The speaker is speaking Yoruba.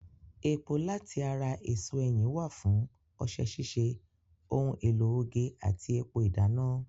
Epo láti ara èso ẹyìn wà fún ọṣẹ ṣíṣe, ohun èlò oge àti epo ìdáná.